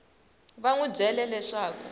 va n wi byele leswaku